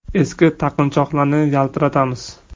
Eski taqinchoqlarni yaltiratamiz.